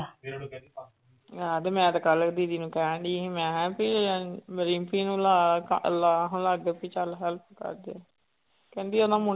ਹਾਂ ਤੇ ਮੈਂ ਤੇ ਕੱਲ੍ਹ ਦੀਦੀ ਨੂੰ ਕਹਿਣਡੀ ਸੀ ਮੈਂ ਕਿਹਾ ਵੀ ਰਿੰਕੀ ਨੂੰ ਲਾ ਕ ਲਾ ਹੁਣ ਆ ਕੇ ਵੀ ਚੱਲ help ਕਰ ਦੇ ਕਹਿੰਦੀ ਉਹਦਾ ਮੁੰਡਾ